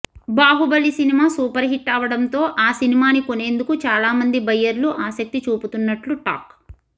Baahubali cinema super hit అవడంతో ఆ సినిమాని కొనేందుకు చాలామంది బయ్యర్లు ఆసక్తి చూపుతున్నట్లు టాక్